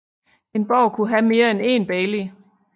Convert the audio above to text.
En borg kunne have mere end én bailey